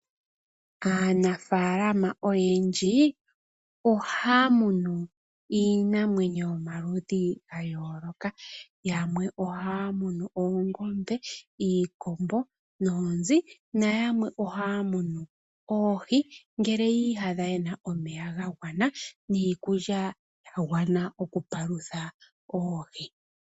Aaanafaalama oyendji ohaya munu iinamwenyo yomaludhi ga yooloka. Yamwe ohaya munu oongombe, iikombo noonzi na yamwe ohaya munu oohi ngele yii yadha ye na omeya ga gwana niikulya ya gwana oku palutha oohi.